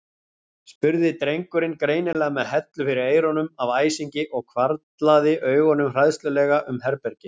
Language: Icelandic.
spurði drengurinn, greinilega með hellu fyrir eyrunum af æsingi og hvarflaði augunum hræðslulega um herbergið.